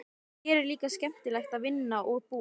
Hér er líka skemmtilegt að vinna og búa.